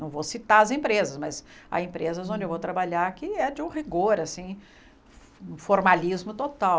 Não vou citar as empresas, mas há empresas onde eu vou trabalhar que é de um rigor assim, um formalismo total.